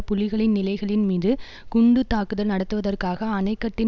புலிகளின் நிலைகளின் மீது குண்டு தாக்குதல் நடத்துவதற்காக அணைக்கட்டின்